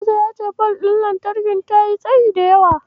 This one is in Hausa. Musa ya ce fol ɗin lantarkin tayi tsayi da yawa.